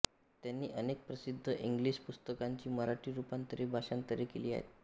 त्यांनी अनेक प्रसिद्ध इंग्लिश पुस्तकांची मराठी रूपांतरेभाषांतरे केली आहेत